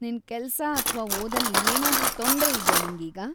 ನಿನ್‌ ಕೆಲ್ಸ ಅಥ್ವಾ ಓದಲ್ಲಿ ಏನಾದ್ರೂ ತೊಂದ್ರೆ ಇದ್ಯಾ ನಿಂಗೀಗ?